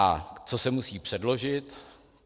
A co se musí předložit?